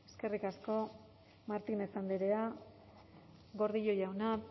eskerrik asko martínez andrea gordillo jauna